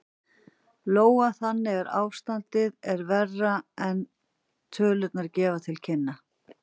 Lóa: Þannig að ástandið er verra en tölurnar gefa til kynna?